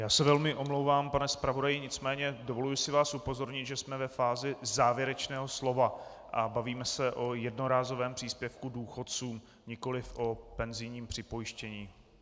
Já se velmi omlouvám, pane zpravodaji, nicméně dovoluji si vás upozornit, že jsme ve fázi závěrečného slova a bavíme se o jednorázovém příspěvku důchodcům, nikoliv o penzijním připojištění.